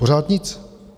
Pořád nic.